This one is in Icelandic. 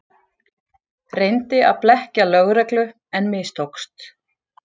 Reyndi að blekkja lögreglu en mistókst